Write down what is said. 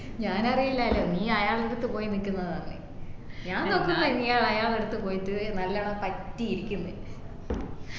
ഞാനറിയില്ലലോ നീ അയാളെടുത്ത പോയി നിക്കുന്നതാന്നു ഞാൻ നൊക്കുമ്പൊ നീ അയാള്ഡ്ത് പോയിറ്റ് നല്ലോണം പറ്റി ഇരിക്കന്ന്